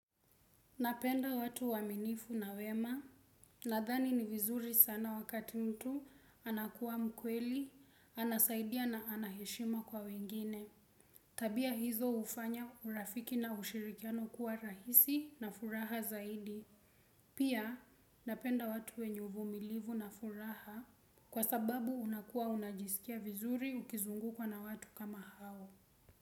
Napenda watu waaminifu na wema, nadhani ni vizuri sana wakati mtu anakuwa mkweli, anasaidia na anaheshima kwa wengine. Tabia hizo hufanya urafiki na ushirikiano kuwa rahisi na furaha zaidi. Pia napenda watu wenye uvumilivu na furaha kwa sababu unakuwa unajisikia vizuri ukizungukwa na watu kama hao.